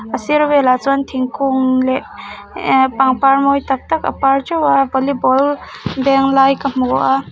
a sir velah chuan thingkung leh ehh pangpar mawi tak tak a par ṭeuh a volleyball beng lai ka hmu a --